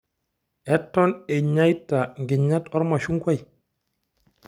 Eton inyeita nkinyat ormashungwai?